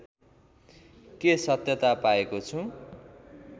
के सत्यता पाएको छु